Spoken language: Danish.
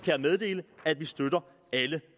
jeg meddele at vi støtter alle